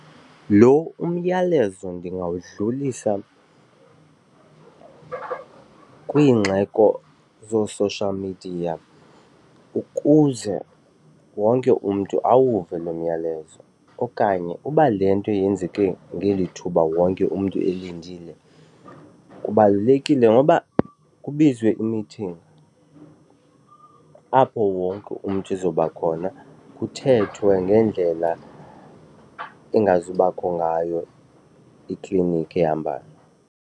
Lo umyalezo ndingawudlulisa kwiingxeko zoo-social media ukuze wonke umntu awuve lo myalezo okanye uba le nto yenzeke ngeli thuba wonke umntu elindile kubalulekile ngoba kubizwe imithingi apho wonke umntu ezoba khona kuthethwe ngeendlela engazubakho ngayo iklinikhi ehambayo.